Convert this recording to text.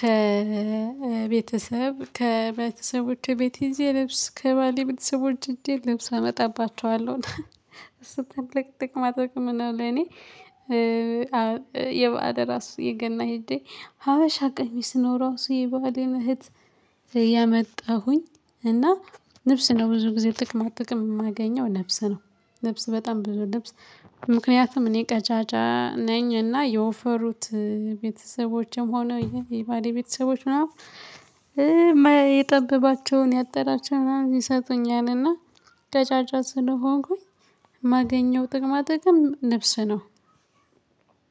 ከቤተሰብ ከቤተሰቦቼ ቤት እዚህ ልብስ ከባሌ ቤተሰቦቼ እዚህ ልብስ አመጣባቸዋለሁ እሱ ትልቅ ጥቅማ ጥቅም ነው። ለኔ የባዕል ራሱ የገና ሂዴ ሀበሻ ቀሚስ ነው። ራሱ የባሌን እህት የመጣሁኝ እና ነፍስ ነው ብዙ ጊዜ ጥቅማ ጥቅም የማገኘው ልብስ ነው። ልብስ በጣም ልብስ ምክንያቱም እኔ ቀጫጫ ነኝ እና የወፈሩት ቤተሰቦችም ሆነ የባሌ ቤተሰቦች ምናምን የጠበባቸውን ያጠራቸውን ምናምን ይሰጡኛልና ቀጫጫ ስሆንኩኝ የማገኘው ጥቅማጠቅም ነፍስ ነው።